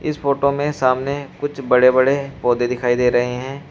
इस फोटो में सामने कुछ बड़े बड़े पौधे दिखाई दे रहे हैं।